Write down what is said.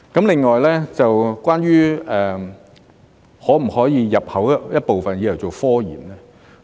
另外，關於可否入口一部分用作科研呢？